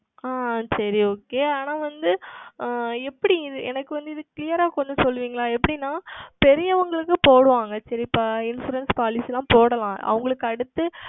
ஆஹ் சரி Okay ஆனால் வந்து ஆஹ் எப்படி எனக்கு வந்து இது Clear ஆ கொஞ்சம் சொல்லுவீர்களா எப்படி என்றால் பெரியவர்களுக்கு போடுவார்கள் Insurance Policy ல போடலாம் அவர்களுக்கு அடுத்து